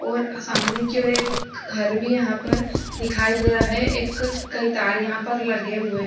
और सामने की ओर एक घर भी यहाँ पर दिखाई दे रहा है एक कईं तार यहाँ पर लगे हुए हैं।